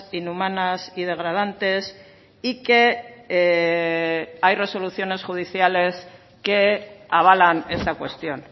inhumanas y degradantes y que hay resoluciones judiciales que avalan esta cuestión